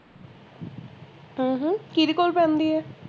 ਹਮ ਹਮ ਕੀਹਦੇ ਕੋਲ ਜਾਂਦੀ ਆ